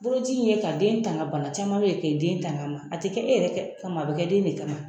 Boloci bɛ kɛ ka den tanga bana caman bɛ yen ka den tanga a ma a tɛ kɛ e yɛrɛ kɛ kama a bɛ kɛ den de kama